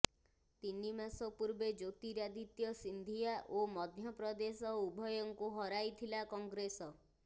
ତିନି ମାସ ପୂର୍ବେ ଜ୍ୟୋତିରାଦିତ୍ୟ ସିନ୍ଧିଆ ଓ ମଧ୍ୟପ୍ରଦେଶ ଉଭୟଙ୍କୁ ହରାଇଥିଲା କଂଗ୍ରେସ